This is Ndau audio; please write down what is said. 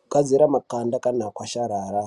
kugadzire makanda kana akwasharara.